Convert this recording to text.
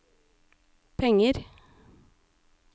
penger